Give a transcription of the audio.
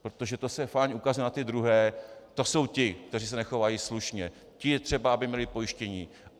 Protože to se fajn ukazuje na ty druhé - to jsou ti, kteří se nechovají slušně, ti je třeba, aby měli pojištění.